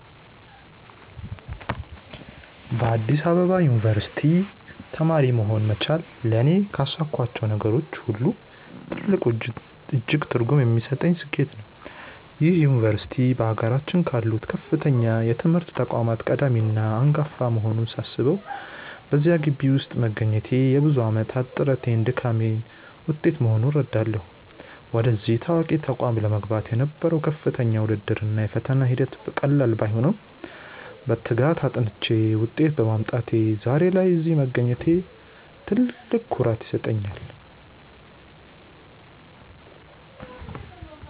በአዲስ አበባ ዩኒቨርሲቲ (Addis Ababa University) ተማሪ መሆን መቻሌ ለእኔ ካሳካኋቸው ነገሮች ሁሉ ትልቁና እጅግ ትርጉም የሚሰጠኝ ስኬቴ ነው። ይህ ዩኒቨርሲቲ በአገራችን ካሉት ከፍተኛ የትምህርት ተቋማት ቀዳሚና አንጋፋ መሆኑን ሳስበው፣ በዚያ ግቢ ውስጥ መገኘቴ የብዙ ዓመታት ጥረቴና ድካሜ ውጤት መሆኑን እረዳለሁ። ወደዚህ ታዋቂ ተቋም ለመግባት የነበረው ከፍተኛ ውድድር እና የፈተና ሂደት ቀላል ባይሆንም፣ በትጋት አጥንቼ ውጤት በማምጣቴ ዛሬ ላይ እዚህ መገኘቴ ትልቅ ኩራት ይሰጠኛል።